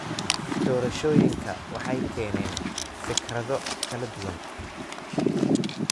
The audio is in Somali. Doorashooyinku waxay keeneen fikrado kala duwan.